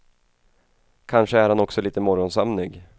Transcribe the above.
Kanske är han också lite morgonsömnig.